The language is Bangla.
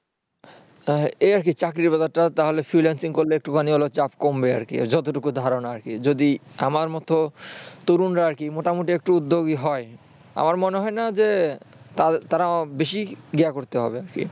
এই আরকি চাকরির বাজারটা তাহলে freelancing করলে একটুখানি হলেও চাপ কমবে যতটুকু ধারনা আরকি যদি আমার মত তরুনরা মোটামুটি যদি উদ্যোগী হয়